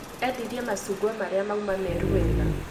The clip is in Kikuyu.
Endilrie macungwa marĩa mauma meeru weega